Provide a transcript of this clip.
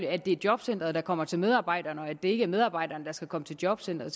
at det er jobcenteret der kommer til medarbejderne og at det ikke er medarbejderne der skal komme til jobcenteret